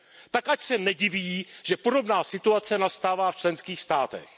Tak ať se nediví, že podobná situace nastává v členských státech.